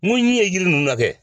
Mun ɲɛ ye jiri ninnu la kɛ